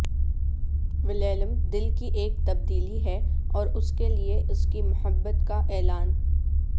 ولیلم دل کی ایک تبدیلی ہے اور اس کے لئے اس کی محبت کا اعلان